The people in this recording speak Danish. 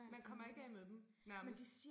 Man kommer ikke af med dem nærmest